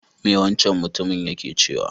Me wancan mutumin yake cewa?